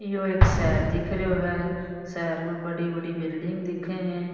यो एक शहर दिख रयो है शहर में बड़ी बड़ी बिल्डिंग दिखे है।